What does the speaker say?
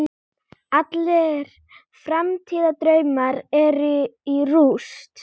Allir framtíðardraumar eru í rúst.